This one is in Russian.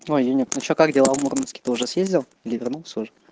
ну а её нет ну что как дела в мурманске ты уже съездил или вернился уже